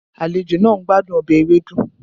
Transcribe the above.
Àlejò náà ń gbádùn ọbẹ̀ ewedu